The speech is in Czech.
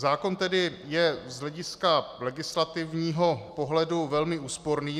Zákon tedy je z hlediska legislativního pohledu velmi úsporný.